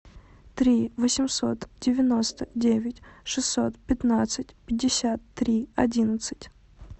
три восемьсот девяносто девять шестьсот пятнадцать пятьдесят три одиннадцать